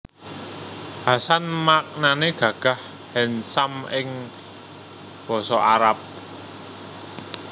Hasan maknané gagah handsome ing Basa Arab